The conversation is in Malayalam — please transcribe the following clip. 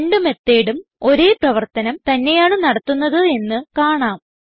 രണ്ട് methodഉം ഒരേ പ്രവർത്തനം തന്നെയാണ് നടത്തുന്നത് എന്ന് കാണാം